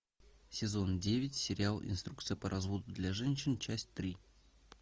сезон девять сериал инструкция по разводу для женщин часть три